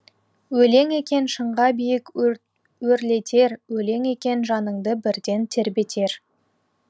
өлең екен шыңға биік өрлетер өлең екен жаныңды бірден тербетер